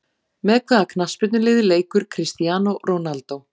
Með hvaða knttspyrnuliði leikur Cristiano Ronaldo?